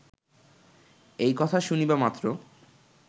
এই কথা শুনিবা মাত্র